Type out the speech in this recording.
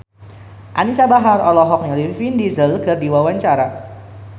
Anisa Bahar olohok ningali Vin Diesel keur diwawancara